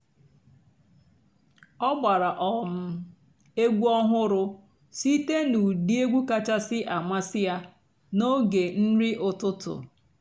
ọ́ gbárá um ègwú ọ̀hụ́rụ́ sìté nà ụ́dị́ ègwú kàchàsị́ àmásị́ yá n'óge nrí ụ́tụtụ́.